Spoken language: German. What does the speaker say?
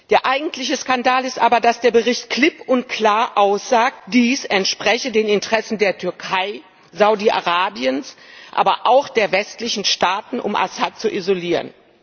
Der eigentliche Skandal ist aber, dass der Bericht klipp und klar aussagt, dies entspreche den Interessen der Türkei, Saudi-Arabiens, aber auch der westlichen Staaten, um Assad zu isolieren.